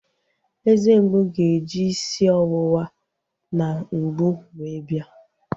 Eze mgbu ga-eji isi ọwụwa na mgbu wee bia